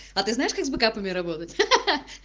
а ты знаешь как с бэкапами работать ха-ха